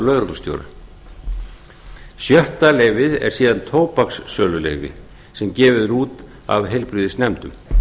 lögreglustjóra sjötta leyfið er síðan tóbakssöluleyfi sem gefið er út af heilbrigðisnefndum